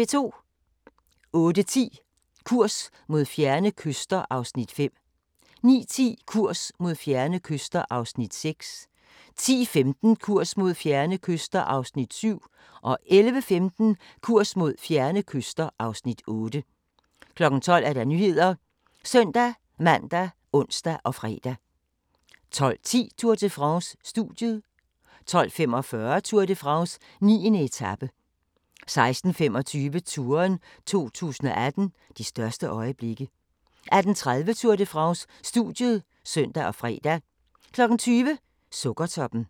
08:10: Kurs mod fjerne kyster (Afs. 5) 09:10: Kurs mod fjerne kyster (Afs. 6) 10:15: Kurs mod fjerne kyster (Afs. 7) 11:15: Kurs mod fjerne kyster (Afs. 8) 12:00: Nyhederne ( søn-man, ons, fre) 12:10: Tour de France: Studiet 12:45: Tour de France: 9. etape 16:25: Touren 2018 - de største øjeblikke 18:30: Tour de France: Studiet (søn og fre) 20:00: Sukkertoppen